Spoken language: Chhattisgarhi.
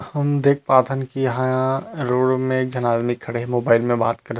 हम देख पाथन की यहाँ रोड में एक झन आदमी खड़े हे मोबाइल में बात करत हे।